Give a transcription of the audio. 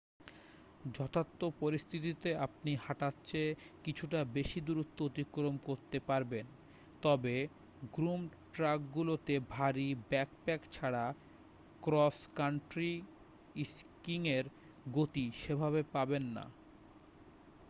যথার্থ পরিস্থিতিতে আপনি হাঁটার চেয়ে কিছুটা বেশি দূরত্ব অতিক্রম করতে পারবেন তবে গ্রুমড্ ট্র্যাকগুলোতে ভারী ব্যাকপ্যাক ছাড়া ক্রস কান্ট্রি স্কিইংয়ের গতি সেভাবে পাবেন না